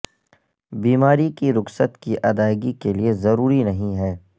بیماری کی رخصت کی ادائیگی کے لئے ضروری نہیں ہے